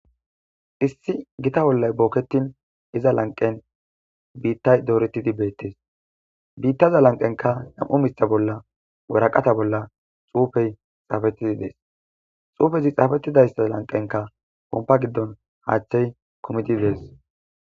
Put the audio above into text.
Issi gita bollay booketin iza lanqen biittay dooretidi beettes biittaza lanqenka nam7u mitha bolla wuraqata bolla xuufey xaafettidi dees xuufezi xaafettidayssaza lanqenka pompa giddon haaththey komidi dees.